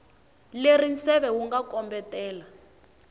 leri nseve wu nga kombetela